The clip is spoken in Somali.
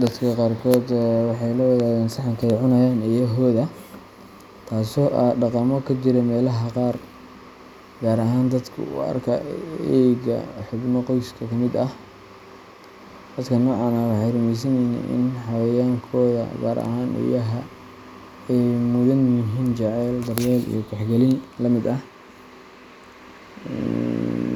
Dadka qaarkood waxay la wadaagaan saxanka ay cunayaan eeyahooda, taasoo ah dhaqamo ka jira meelaha qaar, gaar ahaan dadka u arka eeyga xubno qoyska ka mid ah. Dadka noocan ah waxay rumeysan yihiin in xayawaankooda, gaar ahaan eeyaha, ay mudan yihiin jacayl, daryeel, iyo tixgelin la mid ah